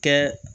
Kɛ